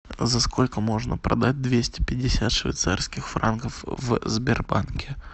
за сколько можно продать двести пятьдесят швейцарских франков в сбербанке